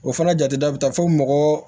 O fana jate da bi taa fɔ mɔgɔ